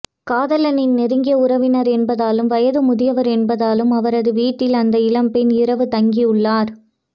காதலனின் நெருங்கிய உறவினர் என்பதாலும் வயது முதியவர் என்பதாலும் அவரது வீட்டில் அந்த இளம்பெண் இரவு தங்கி உள்ளார்